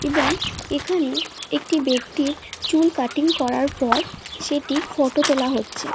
এবং এখানে একটি ব্যক্তির চুল কাটিং করার পর সেটির ফটো তোলা হচ্ছে।